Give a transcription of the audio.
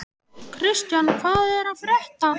Kristian, hvað er að frétta?